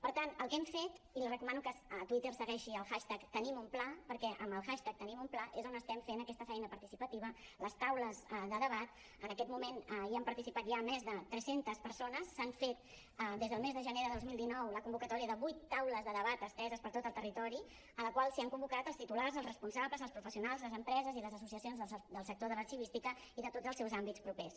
per tant el que hem fet i li recomano que a twitter segueixi el hashtag tenimunpla perquè amb el hashtag tenimunpla és on estem fent aquesta feina participativa les taules de debat en aquest moment hi han participat ja més de tres centes persones s’han fet des del mes de gener del dos mil dinou la convocatòria de vuit taules de debat esteses per tot el territori a la qual s’han convocat els titulars els responsables els professionals les empreses i les associacions del sector de l’arxivística i de tots els seus àmbits propers